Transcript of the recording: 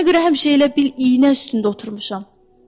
Sənə görə həmişə elə bil iynə üstündə oturmuşam.